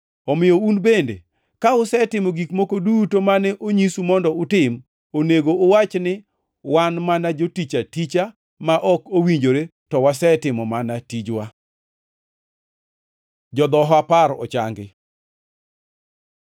Omiyo un bende, ka usetimo gik moko duto mane onyisu mondo utim, onego uwach ni, ‘Wan mana jotich aticha ma ok owinjore to wasetimo mana tijwa.’ ” Jodhoho apar ochangi